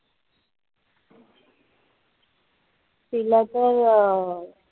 तिला पण अं